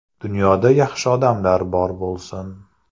Dunyoda yaxshi odamlar bor bo‘lsin.